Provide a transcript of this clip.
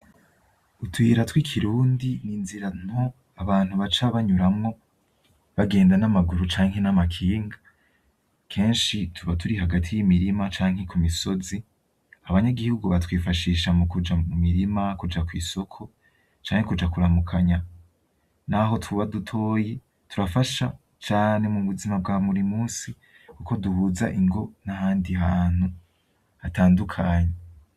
Utuyira tw'ikirundi n'inzira nto abantu baca banyuramwo bagenda n'amaguru canke n'amakinga, kenshi tuba turi hagati y'imirima canke ku misozi abanyagihugu batwifashisha mu kuja mu mirima kuja kw'isoko canke kuja kuramukanya, naho tuba dutoyi turafasha cane mu buzima bwa buri musi, kuko duhuza ingo n'ahandi hantu hatandukanye.